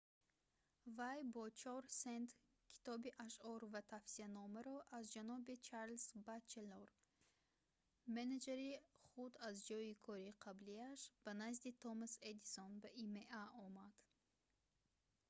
вай бо 4 сент китоби ашъор ва тавсиянома аз ҷаноби чарлз батчелор менеҷери худ аз ҷойи кори қаблияш ба назди томас эдисон ба има омад